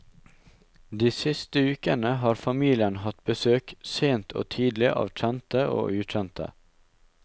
De siste ukene har familien hatt besøk sent og tidlig av kjente og ukjente.